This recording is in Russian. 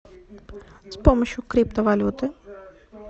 с помощью криптовалюты